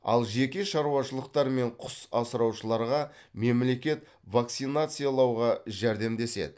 ал жеке шарушалықтар мен құс асыраушыларға мемлекет вакцинациялауға жәрдемдеседі